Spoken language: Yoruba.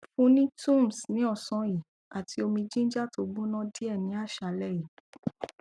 fun ni tums ni osan yi ati omi ginger to gbona die ni asale yi